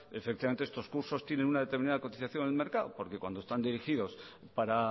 efectivamente estos cursos tienen una determinada cotización en el mercado porque cuando están dirigidos para